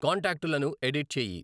కాంటాక్టులను edit చేయి